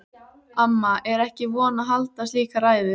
Amma er ekki vön að halda slíka ræðu.